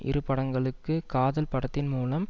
இரு படங்களுக்கு காதல் படத்தின் மூலம்